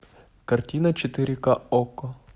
картина четыре ка окко